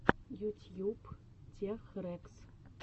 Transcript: ютьюб тех рэкс